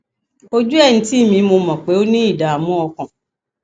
ojú ẹ ń tì mí mo mọ pé o ní ìdààmú ọkàn